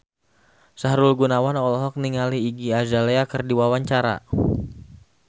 Sahrul Gunawan olohok ningali Iggy Azalea keur diwawancara